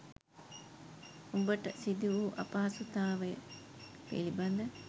ඔබට සිදුවූ අපහසුතාවය පිළිබද